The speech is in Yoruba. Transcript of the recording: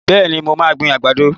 Bẹ́ẹ̀ni, mo máa gbin àgbàdo.